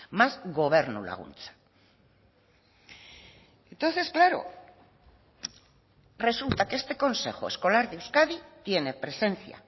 más gobernu laguntza entonces claro resulta que este consejo escolar de euskadi tiene presencia